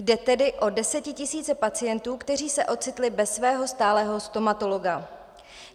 Jde tedy o desetitisíce pacientů, kteří se ocitli bez svého stálého stomatologa.